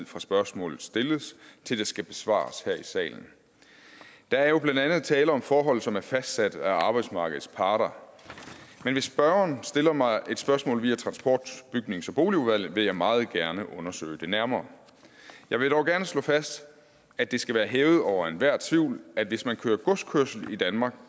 fra spørgsmålet stilles til det skal besvares her i salen der er jo blandt andet tale om forhold som er fastsat af arbejdsmarkedets parter men hvis spørgeren stiller mig et spørgsmål via transport bygnings og boligudvalget vil jeg meget gerne undersøge det nærmere jeg vil dog gerne slå fast at det skal være hævet over enhver tvivl at hvis man kører godskørsel i danmark